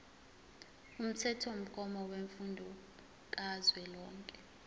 umthethomgomo wemfundo kazwelonke